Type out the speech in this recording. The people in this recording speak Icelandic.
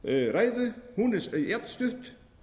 ræðu hún er jafnstutt